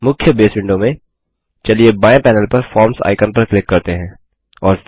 मुख्य बसे विंडो में चलिए बाएँ पैनल पर फॉर्म्स आइकन पर क्लिक करते हैं